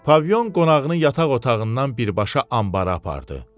Pavilyon qonağını yataq otağından birbaşa anbara apardı.